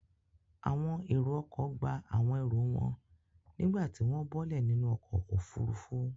Àwọn èrò-ọkọ̀ gba àwọn ẹrù wọn nígbà tí wọ́n bọ́lẹ̀ nínú ọkọ̀-òfurufú.